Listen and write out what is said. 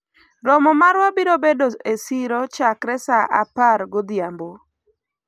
romo marwa biro bedo e siro chakre sa apar godhiambo